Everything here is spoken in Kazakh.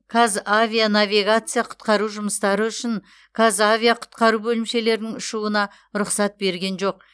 қазавианавигация құтқару жұмыстары үшін қазавиақұтқару бөлімшелерінің ұшуына рұқсат берген жоқ